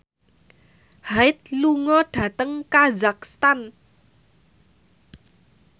Hyde lunga dhateng kazakhstan